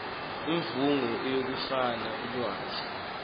imvume yokufumana ulwazi